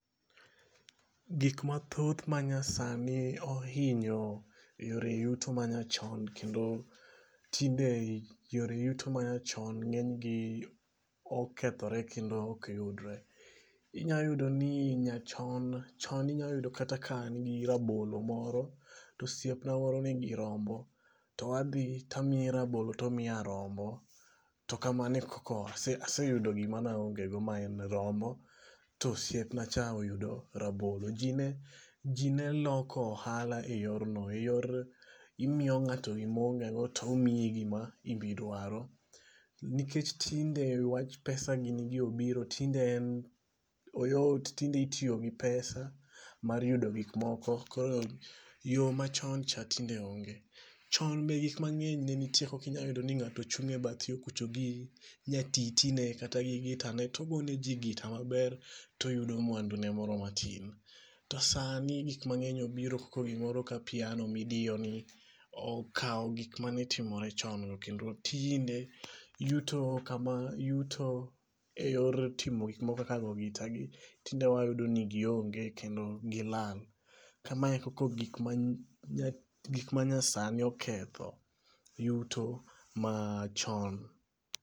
Gik mathoth ma nyasani ohinyo yore yuto manyachon. Kendo tinde yore yuto ma nyachon ng'eny gi okethore kendo ok yudre. Inyayudo ni nyachon chon inyayudo kata ka an gi rabolo moro to osiep na moro ni gi rombo to adhi to amiye rabolo tomiya rombo. To kamano e koko aseyudo gima ne aongego ma en rombo. To osiepnacha oyudo rabolo. Ji ne loko ohala e yor no. E yor imiyo ng'ato gima o ongego to omiyi gim ibidwaro. Nikech tinde wach pesa gini gi obiro tinde oyot tinde itiyo gi peas mar yudo gikmoko koro yo machon cha tinde onge. Chon be gik mang'eny nenitie. Ok inya yudo ni ng'ato chung' e bath yo kucho gi nyatiti ne kata gi gita ne togone ji gita maber toyudo mwandune moro matin. To sani gik mang'eny obiro koko gimoro ka piano midiyo ni okaw gik manitimore chon to kendo tinde yuto kama yuto e yor timo gik moko koko go gitagi tinde wayudo ni gionge kendo gilal. Kamae e koko gik ma nyasani oketho yuto machon.